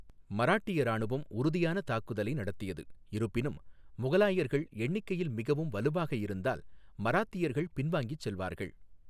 மராட்டிய இராணுவம் உறுதியான தாக்குதலை நடத்தியது, இருப்பினும், முகலாயர்கள் எண்ணிக்கையில் மிகவும் வலுவாக இருந்தால், மராத்தியர்கள் பின்வாங்கிச் செல்வார்கள்.